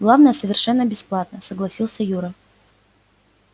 главное совершенно бесплатно согласился юра